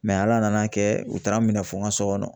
ala nana kɛ u taara n minɛ fɔ n ka so kɔnɔ.